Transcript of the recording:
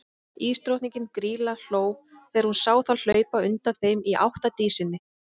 Ísdrottningin, Grýla, hló þegar hún sá þá hlaupa undan þeim í átt að Dísinni.